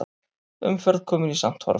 Umferð komin í samt horf